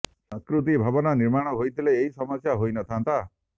ସଂସ୍କୃତି ଭବନ ନିର୍ମାଣ ହୋଇଥିଲେ ଏହି ସମସ୍ୟା ହୋଇ ନ ଥାଆନ୍ତା